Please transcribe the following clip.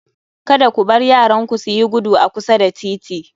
Kada ku bar yaranku suyi gudu a kusa da titi